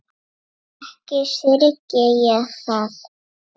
Ekki syrgi ég það.